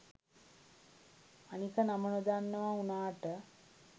අනික නම නොදන්නවා උනාට